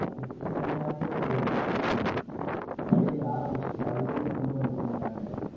அதுக்குன்னு தனியாவே ஒரு உம் ஆரம்பிச்சு அதிலிருந்து கொண்டு வந்துட்டு இருக்காங்க